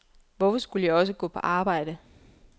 Hvorfor skulle jeg også gå på arbejde.